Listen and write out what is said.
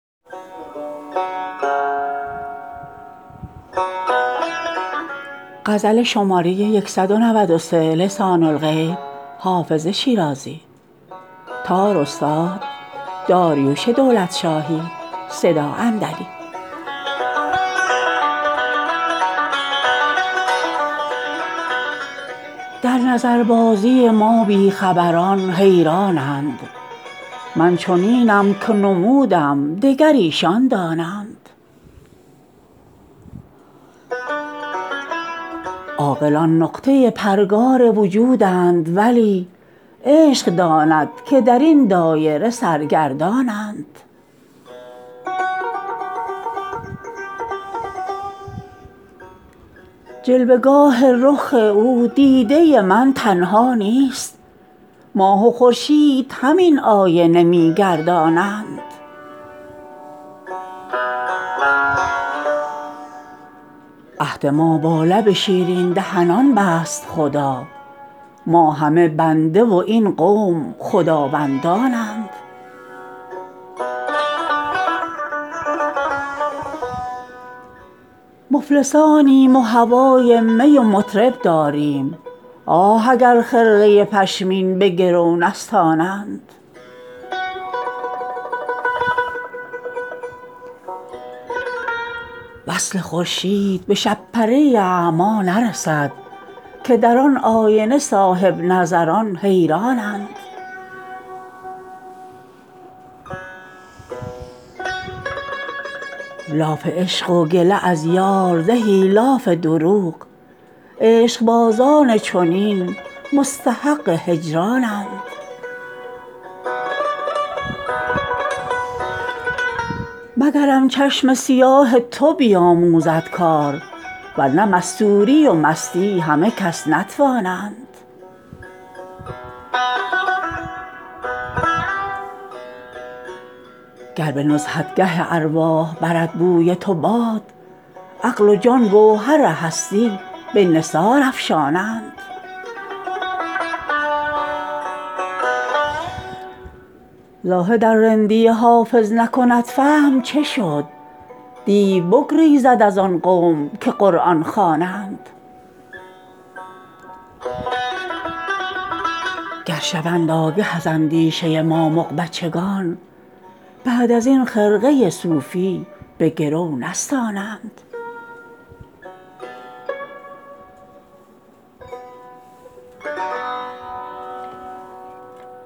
در نظربازی ما بی خبران حیران اند من چنینم که نمودم دگر ایشان دانند عاقلان نقطه پرگار وجودند ولی عشق داند که در این دایره سرگردان اند جلوه گاه رخ او دیده من تنها نیست ماه و خورشید همین آینه می گردانند عهد ما با لب شیرین دهنان بست خدا ما همه بنده و این قوم خداوندان اند مفلسانیم و هوای می و مطرب داریم آه اگر خرقه پشمین به گرو نستانند وصل خورشید به شب پره اعمی نرسد که در آن آینه صاحب نظران حیران اند لاف عشق و گله از یار زهی لاف دروغ عشق بازان چنین مستحق هجران اند مگرم چشم سیاه تو بیاموزد کار ورنه مستوری و مستی همه کس نتوانند گر به نزهتگه ارواح برد بوی تو باد عقل و جان گوهر هستی به نثار افشانند زاهد ار رندی حافظ نکند فهم چه شد دیو بگریزد از آن قوم که قرآن خوانند گر شوند آگه از اندیشه ما مغ بچگان بعد از این خرقه صوفی به گرو نستانند